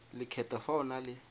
lekgetho fa o na le